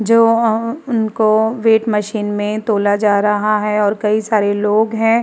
जो वो अ उनको वेट मशीन में तोला जा रहा है और कई सारे लोग हैं।